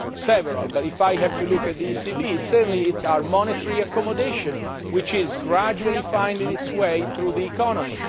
There are several, but if I have to look at the ECB certainly it is our monetary accommodation, which is gradually finding its way through the economy.